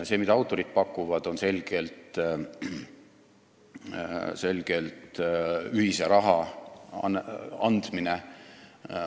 See, mida autorid pakuvad, on selgelt ühise raha andmine.